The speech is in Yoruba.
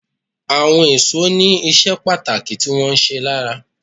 Àwọn èso ní iṣẹ́ pàtàkì tí wón ń ṣe lára.